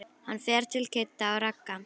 Hann fer til Kidda og Ragga.